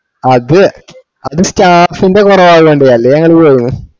അത അത് staff ന്ടെ കൊറവായോണ്ട് അല്ലെ ഞങ്ങള് പോകേനു